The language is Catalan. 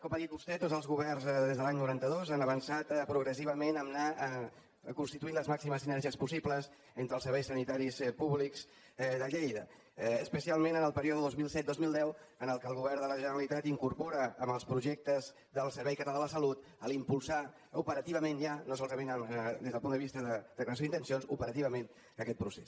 com ha dit vostè tots els governs des de l’any noranta dos han avançat progressivament a anar constituint les màximes sinergies possibles entre els serveis sanitaris públics de lleida especialment en el període dos mil set dos mil deu en què el govern de la generalitat incorpora en els projectes del servei català de la salut impulsar operativament ja no solament des del punt de vista de declaració d’intencions aquest procés